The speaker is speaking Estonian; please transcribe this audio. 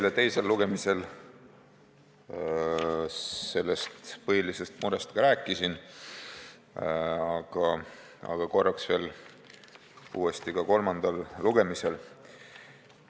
Ma rääkisin sellest põhilisest murest juba teisel lugemisel, aga korraks võtan selle uuesti jutuks ka kolmandal lugemisel.